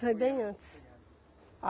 Foi bem antes. Foi antes